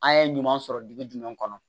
An ye ɲuman sɔrɔ dugu jumɛn kɔnɔ